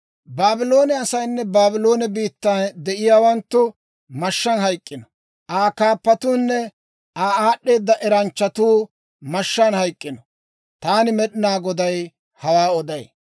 «Baabloone asaynne Baabloone biittan de'iyaawanttu mashshaan hayk'k'ino! «Aa Kaappatuunne Aa aad'd'eeda eranchchatuu mashshaan hayk'k'ino! Taani Med'inaa Goday hawaa oday.